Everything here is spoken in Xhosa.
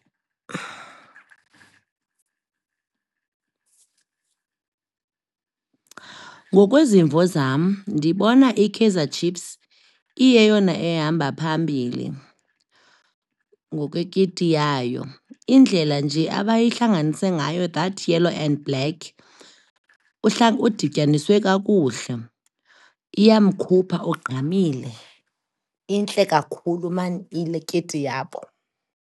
Ngokwezimvo zam, ndibona iKaizer Chiefs iyeyona ehamba phambili, ngokwekiti yayo. Indlela nje abayihlanganise ngayo that yellow and black udityaniswe kakuhle, iyamkhupha, ugqamile. Intle kakhulu maan le kiti yabo.